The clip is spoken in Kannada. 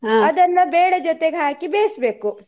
ಬೇಳೆ ಜೊತೆ ಹಾಕಿ ಬೇಯಿಸ್ಬೇಕು.